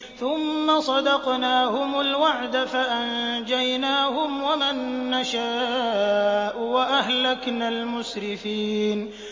ثُمَّ صَدَقْنَاهُمُ الْوَعْدَ فَأَنجَيْنَاهُمْ وَمَن نَّشَاءُ وَأَهْلَكْنَا الْمُسْرِفِينَ